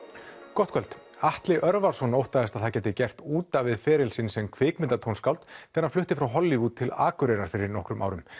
gott kvöld Atli Örvarsson óttaðist að það gæti gert út af við feril sinn sem kvikmyndatónskáld þegar hann flutti frá Hollywood til Akureyrar fyrir nokkrum árum